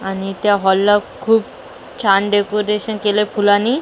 आणि त्या हॉलला खूप छान डेकोरेशन केलेय फुलांनी --